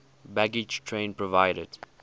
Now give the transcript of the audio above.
baggage train provided